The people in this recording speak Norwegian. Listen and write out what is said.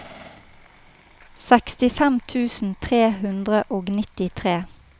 sekstifem tusen tre hundre og nittitre